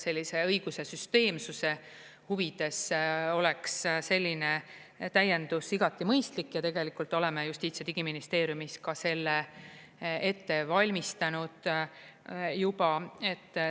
Sellise õiguse süsteemsuse huvides oleks selline täiendus igati mõistlik ja tegelikult oleme Justiits- ja Digiministeeriumis ka selle ette valmistanud juba.